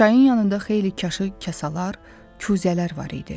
Çayın yanında xeyli çaşı, kasalar, kuzələr var idi.